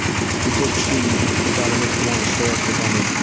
juda kuchli yigit-qizlarimiz bilan ishtirok etamiz.